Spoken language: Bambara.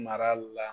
Mara la